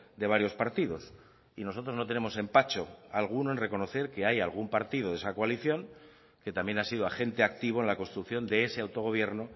de varios partidos y nosotros no tenemos empacho alguno en reconocer que hay algún partido de esa coalición que también ha sido agente activo en la construcción de ese autogobierno